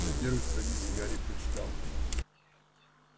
на первой странице гарри прочитал